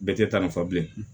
Bɛɛ tɛ taa nin fɛ bilen